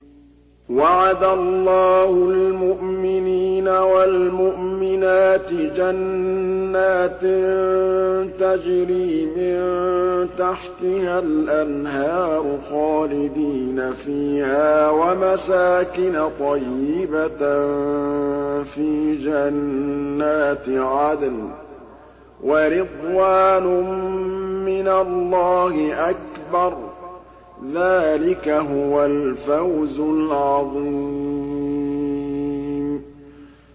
وَعَدَ اللَّهُ الْمُؤْمِنِينَ وَالْمُؤْمِنَاتِ جَنَّاتٍ تَجْرِي مِن تَحْتِهَا الْأَنْهَارُ خَالِدِينَ فِيهَا وَمَسَاكِنَ طَيِّبَةً فِي جَنَّاتِ عَدْنٍ ۚ وَرِضْوَانٌ مِّنَ اللَّهِ أَكْبَرُ ۚ ذَٰلِكَ هُوَ الْفَوْزُ الْعَظِيمُ